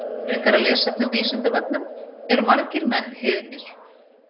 Frekara lesefni á Vísindavefnum Eru margir menn heiðnir?